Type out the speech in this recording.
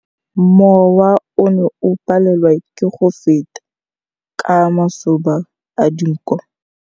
Mowa o ne o palelwa ke go feta ka masoba a dinko.